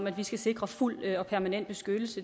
at vi skal sikre fuld og permanent beskyttelse